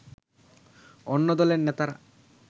অন্য দলের নেতারা